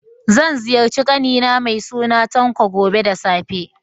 Zan ziyarci ƙani na mai suna Tanko, gobe da safe.